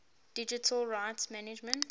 digital rights management